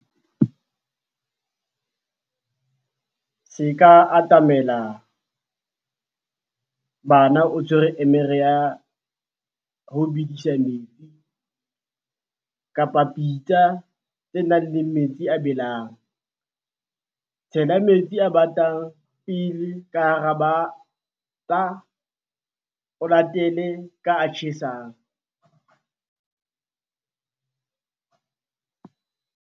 Se ka atamela bana o tshwere emere ya ho bedisa metsi kapa pitsa tse nang le metsi a a belang. Tshela metsi a batang pele ka bateng, o latele ka a tjhesang.